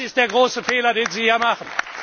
Das ist der große Fehler, den Sie hier machen.